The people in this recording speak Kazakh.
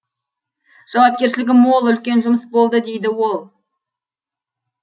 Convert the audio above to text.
жауапкершілігі мол үлкен жұмыс болды дейді ол